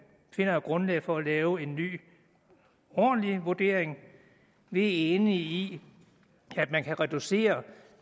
finder et grundlag for at lave en ny ordentlig vurdering vi er enige i at man kan reducere